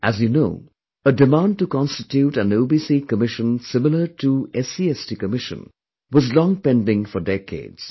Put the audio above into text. As you know, a demand to constitute an OBC Commission similar to SC/ST commission was long pending for decades